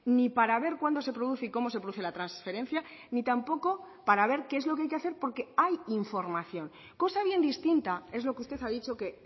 ni para ver cuándo se produce y cómo se produce la transferencia ni tampoco para ver qué es lo que hay que hacer porque hay información cosa bien distinta es lo que usted ha dicho que